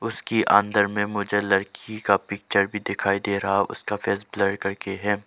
उसकी अंदर में मुझे लड़की का पिक्चर भी दिखाई दे रहा है उसका फेस ब्लर करके है।